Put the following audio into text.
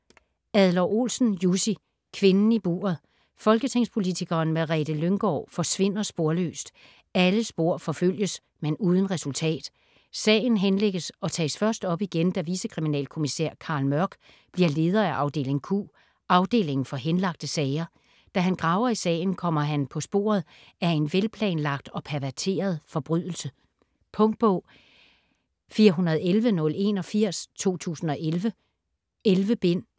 Adler-Olsen, Jussi: Kvinden i buret Folketingspolitikeren Merete Lynggaard forsvinder sporløst. Alle spor forfølges, men uden resultat. Sagen henlægges og tages først op igen, da vicekriminalkommisær Carl Mørck bliver leder af afdeling Q, afdelingen for henlagte sager. Da han graver i sagen, kommer han på sporet af en velplanlagt og perverteret forbrydelse. Punktbog 411081 2011. 11 bind.